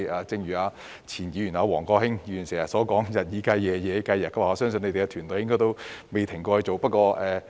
正如前議員王國興經常說的"日以繼夜，夜以繼日"，我相信局長的團隊的工作應該未曾停止。